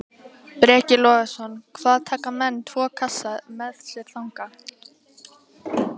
Breki Logason: Hvað taka menn tvo kassa með sér þangað?